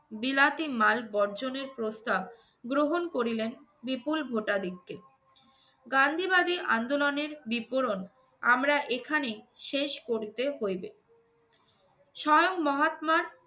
বিলাতি মাল বর্জনের প্রস্তাব গ্রহণ করিলেন বিপুল ভোটাদিক্ষে। গান্ধীবাদী আন্দোলনের বিপরণ আমরা এখানে শেষ করিতে হইবে। স্বয়ং মহাত্মার